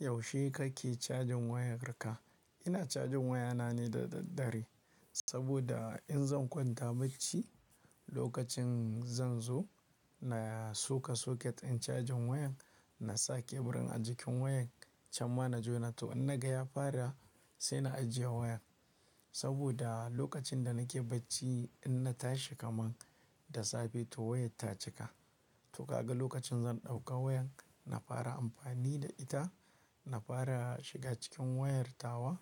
Yaushe kake cajin wayar kam? Ina cajin wayana ne da daddare. Saboda in zan kwanta bacci, lokacin zan zo na soka soket in cajin wayan na sa keburin a jikin wayan. Can ma na jona to in naga ya fara sai na ajiye wayan. Saboda lokacin da nake bacci in na tashi kaman da safe to wayan ta cika. To kaga lokacin zan ɗauka wayan, na fara amfani da ita, na fara shiga cikin wayar tawa.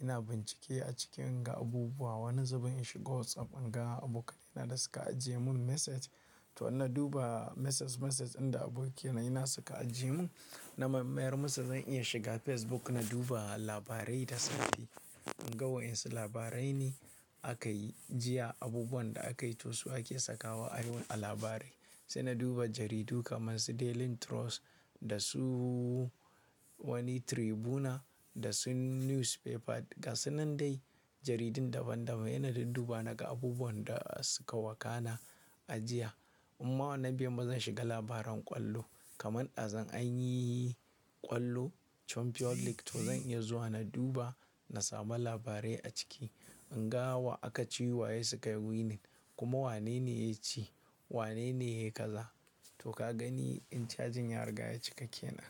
Ina bincike a cikin inga abubuwa, wani zubin in shiga WhatsApp in ga abokaina da suka ajiye mun message. To in na duba message message inda abokaina suna suka ajiye mun. Na mayar musu zan iya shiga Facebook na duba labarai da safe. In ga wa'insu labarai ne akayi jiya, abubuwan da akayi, to su ake sakawa a wurin a labarai. Sai na duba jaridu kamar su Daily Trust da su wani Tribuna da su Newspaper gasu nan dai jaridun daban daban. Saina dinduba naga abubuwan da suka wakana a jiya. Inma wannan baiyimun ba zan shiga labaran ƙwallo. Kaman ɗazun anyi ƙwallo champion league to zan iya zuwa na duba, na samu labarai a ciki. In ga wa aka ci, waye suka winning kuma wane ne ya ci, wane ne ya kaza. To ka gani in cajin ya riga ya cika kenan.